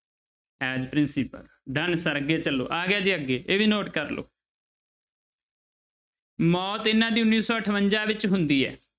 As principal done sir ਅੱਗੇ ਚੱਲੋ ਆ ਗਿਆ ਜੀ ਅੱਗੇ ਇਹ ਵੀ note ਕਰ ਲਓ ਮੌਤ ਇਹਨਾਂ ਦੀ ਉੱਨੀ ਸੌ ਅਠਵੰਜਾ ਵਿੱਚ ਹੁੰਦੀ ਹੈ।